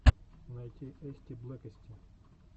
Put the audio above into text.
найти эстиблэкэсти